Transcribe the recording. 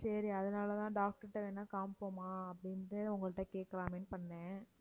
சரி அதனாலதான் doctor ட்ட வேணும்னா காமிப்போமா அப்படினுட்டு உங்கள்ட்ட கேட்கலாமேன்னு பண்ணேன்